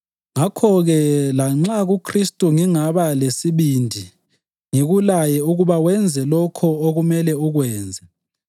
Ngakho-ke, lanxa kuKhristu ngingaba lesibindi ngikulaye ukuba wenze lokho okumele ukwenze